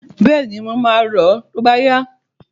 Bẹ́ẹ̀ni, mo máa lọọ tó bá yá